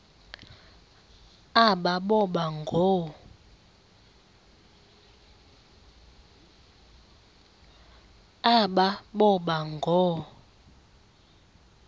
aba boba ngoo